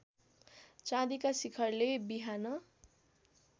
चाँदिका शिखरले बिहान